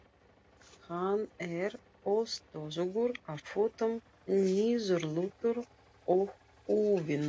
Hann er óstöðugur á fótum, niðurlútur og úfinn.